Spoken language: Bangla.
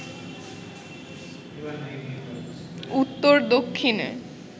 উত্তর দক্ষিণে